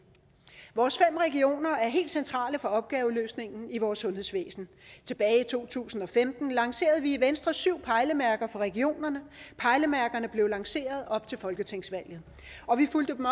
vores fem regioner er helt centrale for opgaveløsningen i vores sundhedsvæsen tilbage i to tusind og femten lancerede vi i venstre syv pejlemærker for regionerne pejlemærkerne blev lanceret op til folketingsvalget vi fulgte dem